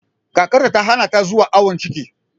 Kakarta ta hana ta zuwa awon ciki